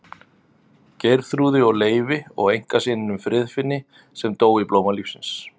Geirþrúði og Leifi og einkasyninum Friðfinni sem dó í blóma lífsins.